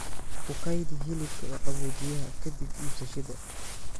Ku kaydi hilibka qaboojiyaha ka dib iibsashada.